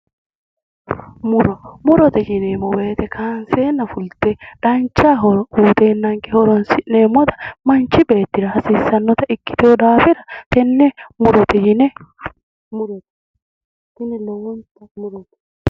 Muro. Murote yineemmo woyite kaanseenna fulte dancha horo uyiteennanke horoonsi'neemmota manchi beettira hasiissannota ikkitinno daafira tenne murote yine murote. Tini lowonta murote.